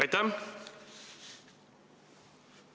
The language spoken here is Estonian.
Aitäh!